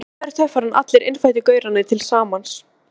Miklu meiri töffari en allir innfæddu gaurarnir til samans.